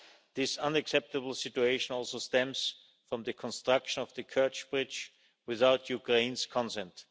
This unacceptable situation also stems from the construction of the Kerch Bridge without Ukraine's consent.